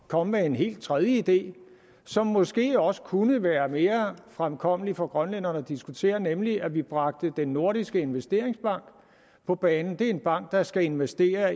komme med en helt tredje idé som måske også kunne være mere fremkommelig for grønlænderne at diskutere nemlig at vi bragte den nordiske investeringsbank på banen det er en bank der skal investere